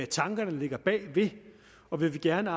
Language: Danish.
tanker der ligger bag ved det og vi vil gerne